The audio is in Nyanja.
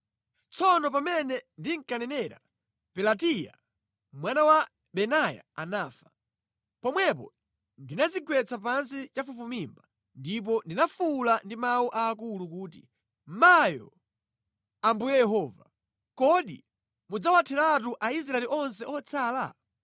Tsono pamene ndinkanenera, Pelatiya mwana wa Benaya anafa. Pomwepo ndinadzigwetsa pansi chafufumimba ndipo ndinafuwula ndi mawu aakulu kuti “Mayo, Ambuye Yehova! Kodi mudzawatheratu Aisraeli onse otsala?”